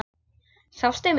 Sástu mig?